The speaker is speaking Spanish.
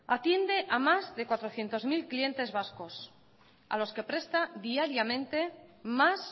atiende a más de cuatrocientos mil clientes vascos a los que presta diariamente más